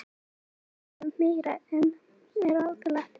Vilja veiða meira en ráðlagt er